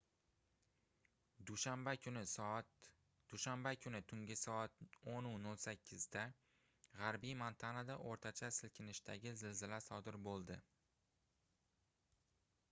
dushanba kuni tungi soat 10:08 da gʻarbiy montanada oʻrtacha silkinishdagi zilzila sodir boʻldi